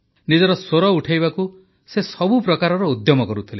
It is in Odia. ନିଜର ସ୍ୱର ଉଠାଇବାକୁ ସେ ସବୁ ପ୍ରକାରର ଉଦ୍ୟମ କରୁଥିଲେ